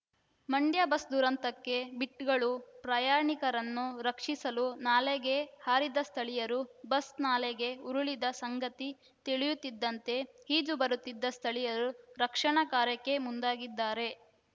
Mandya bus ದುರಂತಕ್ಕೆ ಬಿಟ್‌ಗಳು ಪ್ರಯಾಣಿಕರನ್ನು ರಕ್ಷಿಸಲು ನಾಲೆಗೆ ಹಾರಿದ ಸ್ಥಳೀಯರು ಬಸ್‌ ನಾಲೆಗೆ ಉರುಳಿದ ಸಂಗತಿ ತಿಳಿಯುತ್ತಿದ್ದಂತೆ ಈಜು ಬರುತ್ತಿದ್ದ ಸ್ಥಳೀಯರು ರಕ್ಷಣಾ ಕಾರ್ಯಕ್ಕೆ ಮುಂದಾಗಿದ್ದಾರೆ